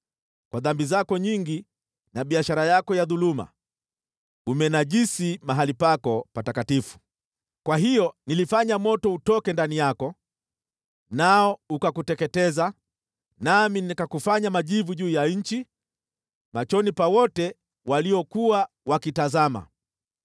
Kwa dhambi zako nyingi na biashara yako ya dhuluma, umenajisi mahali pako patakatifu. Kwa hiyo nilifanya moto utoke ndani yako, nao ukakuteketeza, nami nikakufanya majivu juu ya nchi, machoni pa wote waliokuwa wakitazama.